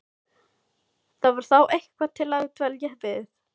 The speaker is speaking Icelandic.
Það var þá eitthvað til að dvelja við.